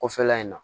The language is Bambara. Kɔfɛla in na